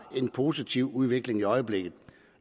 er en positiv udvikling i øjeblikket